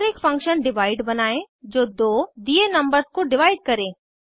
और एक function divide बनायें जो दो दिए नंबर्स को डिवाइड करे